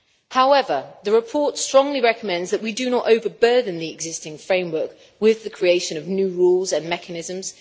However, the report strongly recommends that we do not overburden the existing framework with the creation of new rules and mechanisms.